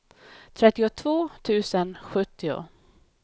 trettiotvå tusen sjuttio